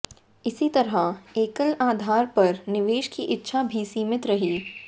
इसी तरह एकल आधार पर निवेश की इच्छा भी सीमित रही